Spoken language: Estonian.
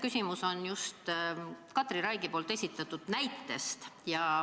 Küsimus on just Katri Raigi esitatud näites.